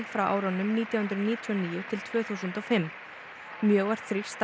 frá árunum nítján hundruð níutíu og níu til tvö þúsund og fimm mjög var þrýst